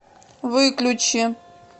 выключи